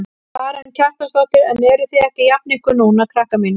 Karen Kjartansdóttir: En eruð þið ekki að jafna ykkur núna krakkar mínir?